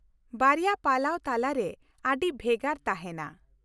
ᱵᱟᱨᱭᱟ ᱯᱟᱞᱟᱣ ᱛᱟᱞᱟᱨᱮ ᱟᱹᱰᱤ ᱵᱷᱮᱜᱟᱨ ᱛᱟᱦᱮᱱᱟ ᱾